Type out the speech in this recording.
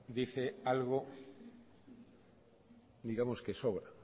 dice algo digamos que sobra